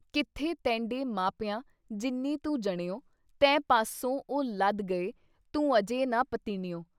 ਕਿੱਥੇ ਤੈਂਡੇ ਮਾਪਿਆਂ ਜਿੰਨੀ ਤੂ ਜਣਿਉਂ। ਤੈਂਅ ਪਾਸੋਂ ਉਹ ਲੱਦ ਗਏ ਤੂੰ ਅਜੇ ਨਾ ਪਤੀਣਿਉਏ।